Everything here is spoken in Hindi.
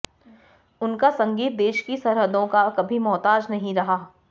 उनका संगीत देश की सरहदों का कभी मोहताज नहीं रहा